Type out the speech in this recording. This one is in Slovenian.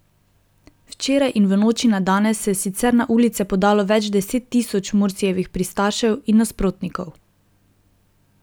Včeraj in v noči na danes se je sicer na ulice podalo več deset tisoč Mursijevih pristašev in nasprotnikov.